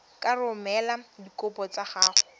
ka romela dikopo tsa gago